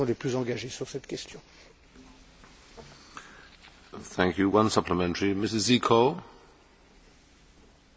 Aș dori să vă întreb dacă aveți în vedere revizuirea Directivei privind drepturile de autor în societatea informațională.